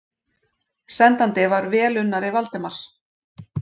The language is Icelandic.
Sendandi var velunnari Valdimars.